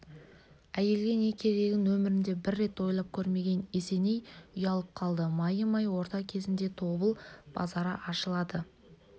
әйелге не керегін өмірінде бір рет ойлап көрмеген есеней ұялып қалды майымай орта кезінде тобыл базары ашылады